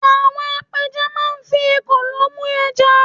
àwọn apẹja ma n fi ekòló mu eja